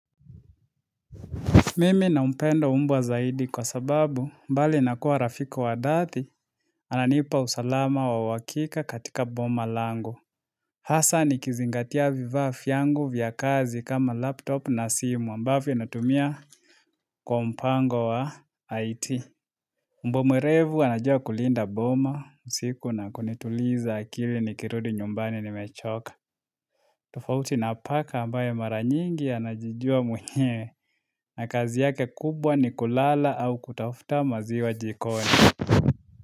Mimi nampenda mbwa zaidi kwa sababu bali na kuwa rafiki wa dhati, ananipa usalama wa uhakika katika boma langu. Hasa nikizingatia vifaa vyangu vya kazi kama laptop na simu ambavyo natumia kwa mpango wa IT. Mbwa mwerevu anajua kulinda boma, usiku na kunituliza akili nikirudi nyumbani nimechoka. Tofauti na paka ambaye mara nyingi anajijua mwenyewe na kazi yake kubwa ni kulala au kutafuta maziwa jikoni.